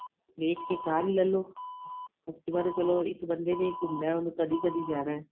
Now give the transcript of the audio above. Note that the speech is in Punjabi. ਵੇਚ ਕੇ ਕਾਰ ਹੀ ਲੈਲੋ activa ਤੇ ਚਲੋਂ ਇੱਕ ਬੰਦੇ ਨੇ ਹੀ ਘੁੱਮਣਾ ਏ ਉਹਨੇ ਕਦੀਂ ਕਦੀਂ ਜਾਣਾ ਏ